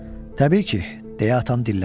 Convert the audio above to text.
Təbii ki, deyə atam dilləndi.